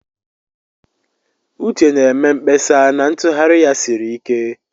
Uche na-eme mkpesa na ntughari ya siri ike.